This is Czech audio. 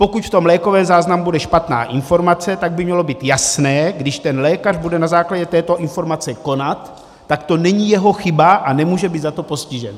Pokud v tom lékovém záznamu bude špatná informace, tak by mělo být jasné, když ten lékař bude na základě této informace konat, tak to není jeho chyba a nemůže být za to postižen.